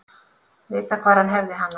Vita hvar hann hefði hana.